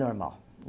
Normal.